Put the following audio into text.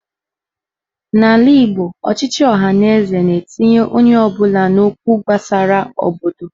N'ala Igbo, ochịchị ọhaneze na-etinye onye ọbụla n'okwu gbasara obodo.